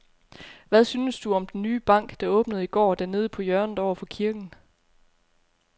Hvad synes du om den nye bank, der åbnede i går dernede på hjørnet over for kirken?